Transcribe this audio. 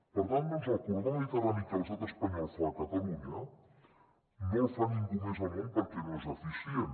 per tant doncs el corredor mediterrani que l’estat espanyol fa a catalunya no el fa ningú més al món perquè no és eficient